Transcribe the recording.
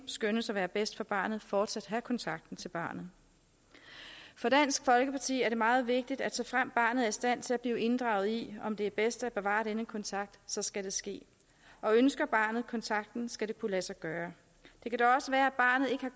skønnes at være bedst for barnet fortsat have kontakten til barnet for dansk folkeparti er det meget vigtigt at såfremt barnet er i stand til at blive inddraget i afgørelsen om det er bedst at bevare denne kontakt så skal det ske og ønsker barnet kontakten skal det kunne lade sig gøre det kan også være